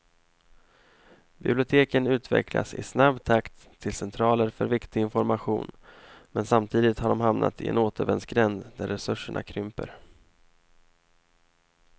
Biblioteken utvecklas i snabb takt till centraler för viktig information, men samtidigt har de hamnat i en återvändsgränd när resurserna krymper.